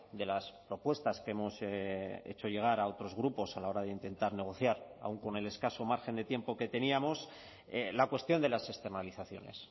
de las propuestas que hemos hecho llegar a otros grupos a la hora de intentar negociar aun con el escaso margen de tiempo que teníamos la cuestión de las externalizaciones